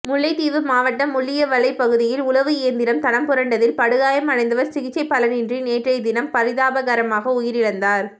முல்லைத்தீவு மாவட்டம் முள்ளியவளைப் பகுதியில் உழவு இயந்திரம் தடம்புரண்டதில் படுகாயமடைந்தவர் சிகிச்சை பலனின்றி நேற்றைய தினம் பரிதாபகரமாக உயிரிழந்தார்